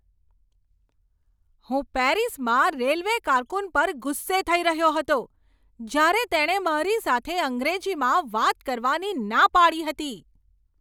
હું પેરિસમાં રેલવે કારકુન પર ગુસ્સે થઈ રહ્યો હતો જ્યારે તેણે મારી સાથે અંગ્રેજીમાં વાત કરવાની ના પાડી હતી.